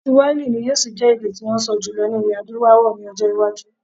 Kiswahili ni yóò ṣì jẹ́ èdè tí wọ́n ń sọ jùlọ ní ilẹ̀ Adúláwọl ní ọjọ́-iwájú.